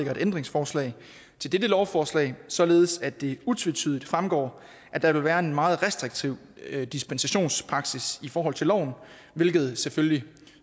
et ændringsforslag til dette lovforslag således at det utvetydigt fremgår at der vil være en meget restriktiv dispensationspraksis i forhold til loven hvilket selvfølgelig